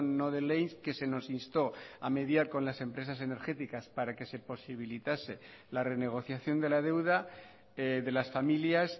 no de ley que se nos instó a mediar con las empresas energéticas para que se posibilitase la renegociación de la deuda de las familias